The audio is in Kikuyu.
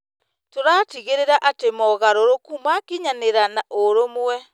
Tũratigĩrĩra atĩ mogarũrũku makinyanĩra na ũrũmwe.